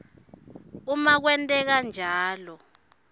uma kwenteka njalo